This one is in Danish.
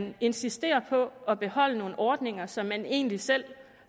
man insisterer på at beholde nogle ordninger som man egentlig selv